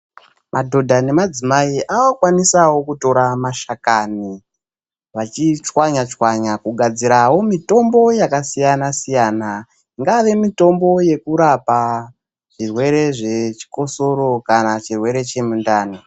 Madhodha nemadzimai avakukwanisawo kutora mashakani vachichwanyachwanya kugadzira mitombo yakasiyana_siyana ingave mitombo yekurapa zvirwere zvichikosoro kana chirwere chemudhani.